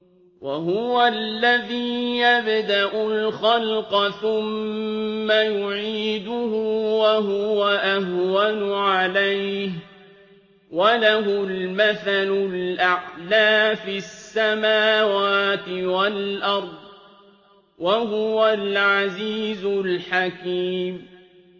وَهُوَ الَّذِي يَبْدَأُ الْخَلْقَ ثُمَّ يُعِيدُهُ وَهُوَ أَهْوَنُ عَلَيْهِ ۚ وَلَهُ الْمَثَلُ الْأَعْلَىٰ فِي السَّمَاوَاتِ وَالْأَرْضِ ۚ وَهُوَ الْعَزِيزُ الْحَكِيمُ